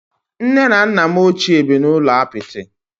Nne na nna m ochie bi n'ụlọ apịtị